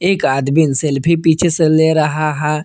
एक आदमीन सेल्फी पीछे से ले रहा है।